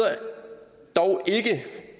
dog ikke